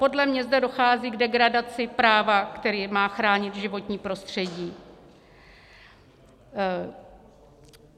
Podle mě zde dochází k degradaci práva, které má chránit životní prostředí.